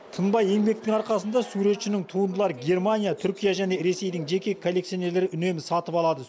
тынбай еңбектің арқасында суретшінің туындылары германия түркия және ресейдің жеке коллекционерлері үнемі сатып алады